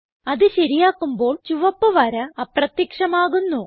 അത് ശരിയാക്കുമ്പോൾ ചുവപ്പ് വര അപ്രത്യക്ഷമാകുന്നു